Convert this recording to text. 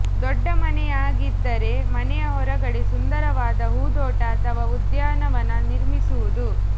ದೊಡ್ಡ ಮನೆಯಾಗಿದ್ದರೆ ಮನೆಯ ಹೊರಗಡೆ ಸುಂದರವಾದ ಹೂದೋಟ ಅಥವಾ ಉದ್ಯಾನವನ ನಿರ್ಮಿಸುವುದು